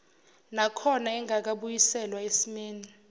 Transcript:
nakhona engakabuyiselwa esimeni